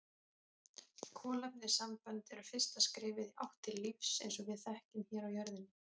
Kolefnissambönd eru fyrsta skrefið í átt til lífs eins og við þekkjum hér á jörðinni.